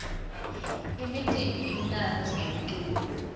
imicimbi imnandzi ngemculo